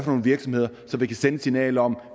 nogle virksomheder så vi kan sende et signal om at